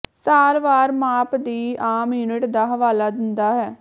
ਸਾਲ ਵਾਰ ਮਾਪ ਦੀ ਆਮ ਯੂਨਿਟ ਦਾ ਹਵਾਲਾ ਦਿੰਦਾ ਹੈ